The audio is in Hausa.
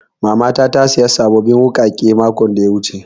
Mama na ta saya sabbin wuƙaƙe mako biyu da suka wuce